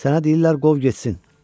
Sənə deyirlər qov getsin.